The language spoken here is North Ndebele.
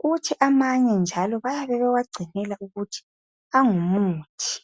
kuthi amanye njalo bayabe bewagcinela ukuthi angumuthi.